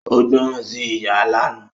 Ó gbọ̀rán sí ìyá lánàá